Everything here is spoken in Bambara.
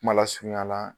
Kuma lasurunya la